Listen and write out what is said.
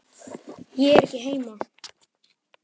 Ég er ekki heima